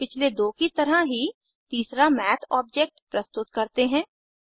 अब पिछले दो की तरह ही तीसरा मैथ ऑब्जेक्ट प्रस्तुत करते हैं